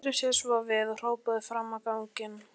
Sneri sér svo við og hrópaði fram á ganginn.